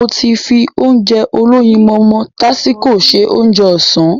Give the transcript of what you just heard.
Mo ti fi Ounjẹ olóyinmọmọ tásíko se Ounjẹ ọ̀sán